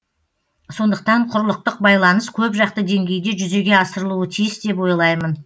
сондықтан құрлықтық байланыс көпжақты деңгейде жүзеге асырылуы тиіс деп ойлаймын